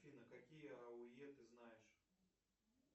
афина какие ауе ты знаешь